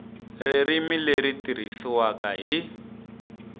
ririmi leri tirhisiwaka hi